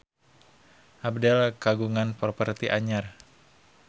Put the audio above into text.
Abdel kagungan properti anyar